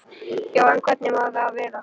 Já, en hvernig má það vera?